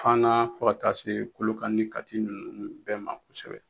Faana fo ka taa se KolokanI ni Kati ninnu bɛɛ ma kosɛbɛ.